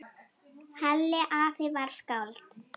Halli afi var skáld.